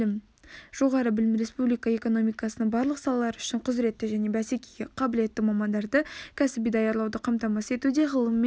жоғары білім республика экономикасының барлық салалары үшін құзыретті және бәсекеге қабілетті мамандарды кәсіби даярлауды қамтамасыз етуде ғылым мен